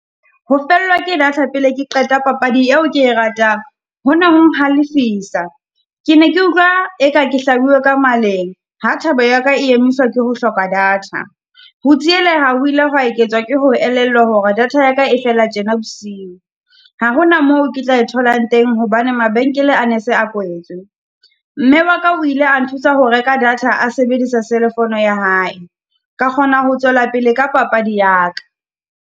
Ho fellwa ke data pele ke qeta papadi eo ke ratang, ho ne ho nhalefiswa. Ke ne ke utlwa eka ke hlabue ka maleng. Ha thabo ya ka e emiswa ke ho hloka data. Ho tsieleha ho ile hwa eketswa ke ho re elellwe hore data ya ka e fela tjena bosiu. Ha ho na moo ke tla e tholang teng hobane mabenkele a ne se a kwetswe, mme wa ka o ile a nthusa ho reka data a sebedisa cell-e fono ya hae, ka kgona ho tswela pele ka papadi ya ka.